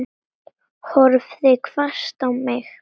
Horfði hvasst á mig.